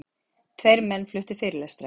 Tveir menn fluttu fyrirlestra.